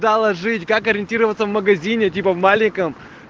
проложить как ориентироваться в магазине типа в маленьком